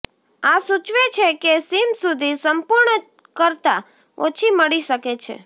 આ સૂચવે છે કે સીમ સુધી સંપૂર્ણ કરતાં ઓછી મળી શકે છે